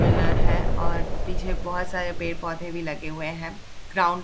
Pillar है और पीछे बहुत सारे पेड़-पौधे भी लगे हुए हैं। ग्राउंड --